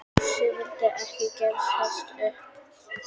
En Fúsi vildi ekki gefast upp.